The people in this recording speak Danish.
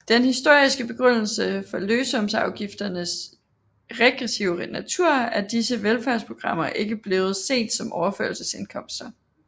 Den historiske begrundelse for lønsumsafgifternes regressive natur er disse velfærdsprogrammer ikke blevet set som overførselsindkomster